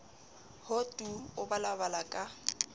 ho tu o balabala ka